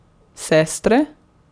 Sestre?